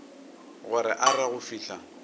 gore a re go fihla